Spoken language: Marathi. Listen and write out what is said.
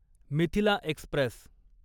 मिथिला एक्स्प्रेस